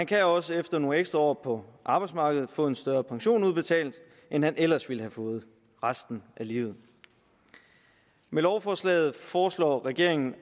kan også efter nogle ekstra år på arbejdsmarkedet få en større pension udbetalt end de ellers ville have fået resten af livet med lovforslaget foreslår regeringen